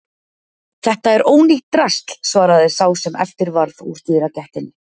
Þetta er ónýtt drasl svaraði sá sem eftir varð úr dyragættinni.